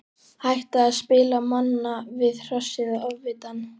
Hætta að spila manna við Hrossið og Ofvitann.